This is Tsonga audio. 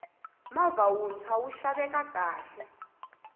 movha wuntshwa wu xaveka kahle